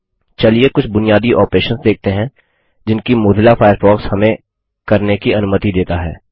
चलिए कुछ बुनियादी ऑपरेशन्स देखते हैं जिनकी मोज़िला फायरफॉक्स हमें करने की अनुमति देता है